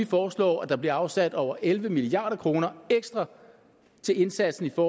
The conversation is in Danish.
foreslår at der bliver afsat over elleve milliard kroner ekstra til indsatsen på